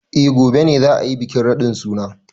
Eh gobe ne za a yi bikin radin suna.